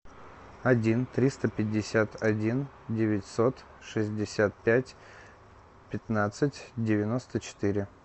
один триста пятьдесят один девятьсот шестьдесят пять пятнадцать девяносто четыре